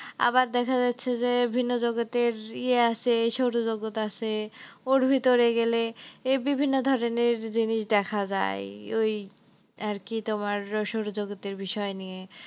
আবার দেখা যাচ্ছে যে ভিন্ন জগতের ইয়া আছে সৌরজগতে আসে ওর ভিতরে গেলে এই বিভিন্ন ধরনের জিনিস দেখা যায় ওই, আরকি তোমার সৌরজগতের বিষয় নিয়ে।